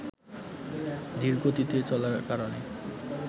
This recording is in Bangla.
ধীরগতিতে চলার কারণে